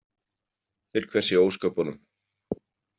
Til hvers í ósköpunum?